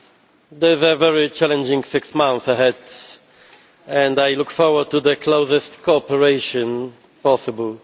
There is a very challenging six months ahead and I look forward to the closest cooperation possible.